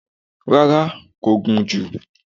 Rárá, kò gùn jù